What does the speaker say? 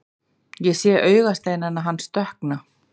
Ég sé augasteina hans dökkna.